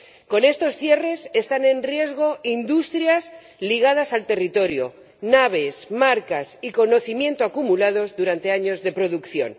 Con estos cierres están en riesgo industrias ligadas al territorio naves, marcas y conocimiento acumulados durante años de producción.